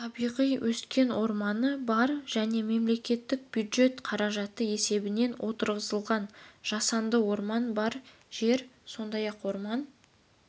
табиғи өскен орманы бар және мемлекеттік бюджет қаражаты есебінен отырғызылған жасанды орманы бар жер сондай-ақ орман